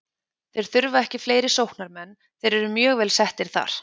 Þeir þurfa ekki fleiri sóknarmenn, þeir eru mjög vel settir þar.